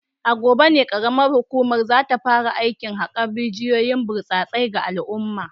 A gobe ne karamar hukumar za ta fara aikin hakar rijiyoyin burtsatse ga al’umma